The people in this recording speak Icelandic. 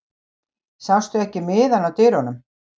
Sástu ekki miðann á dyrunum?